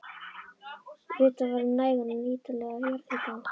Vitað var um nægan og nýtanlegan jarðhita á